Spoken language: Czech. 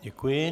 Děkuji.